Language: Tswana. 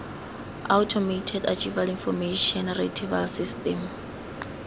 automated archival information retrieval system